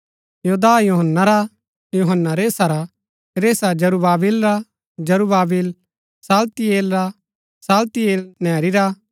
योदाह यूहन्‍ना रा यूहन्‍ना रेसा रा रेसा जरूब्‍बाबिल रा जरूब्‍बाबिल शालतियेल रा शालतियेल नेरी रा